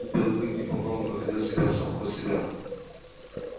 белый клык не помногу находил себя самого себя